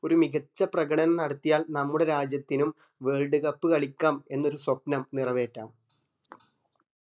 ഒരു മികച്ച പ്രകടനം നടത്തിയാൽ നമ്മുടെ രാജ്യത്തിനും world cup കളിക്കാം എന്നൊരു സ്വപ്നം നിറവേറ്റാം